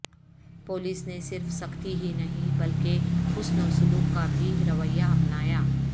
police نے صرف سختی ہی نہیں بلکہ حسن وسلوک کابھی رویہ اپنایا